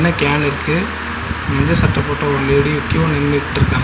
Can இருக்கு மஞ்ச சட்ட போட்ட ஒரு லேடி க்யூல நின்னுட்ருக்காங்க.